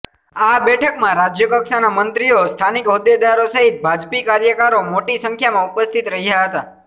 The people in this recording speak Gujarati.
આ બેઠકમાં રાજ્યકક્ષાના મંત્રીઓ સ્થાનીક હોદ્દેદારો સહિત ભાજપી કાર્યકરો મોટી સંખ્યામાં ઉપસ્થિત રહ્યા હતા